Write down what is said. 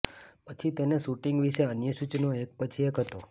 પછી તેને શૂટિંગ વિશે અન્ય સૂચનો એક પછી એક હતો